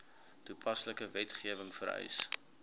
toepaslike wetgewing vereis